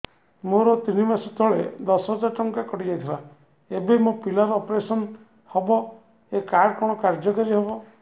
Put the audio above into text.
ମୋର ତିନି ମାସ ତଳେ ଦଶ ହଜାର ଟଙ୍କା କଟି ଯାଇଥିଲା ଏବେ ମୋ ପିଲା ର ଅପେରସନ ହବ ଏ କାର୍ଡ କଣ କାର୍ଯ୍ୟ କାରି ହବ